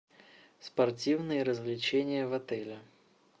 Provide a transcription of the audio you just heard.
спортивные развлечения в отеле